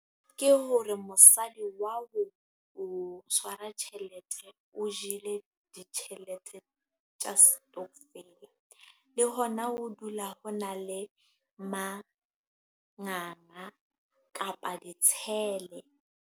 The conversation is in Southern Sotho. Ke hore mosadi wa o ho tshwara tjhelete. O jele ditjhelete tsa stockvel. Le hona ho dula ho na le manganga kapa ditshele.